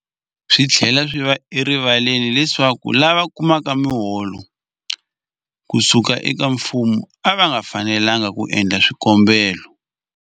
Swi tlhela swi va erivaleni leswaku lava kumaka miholo ku suka eka mfumo a va fanelanga ku endla swikombelo.